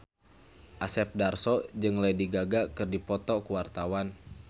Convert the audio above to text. Asep Darso jeung Lady Gaga keur dipoto ku wartawan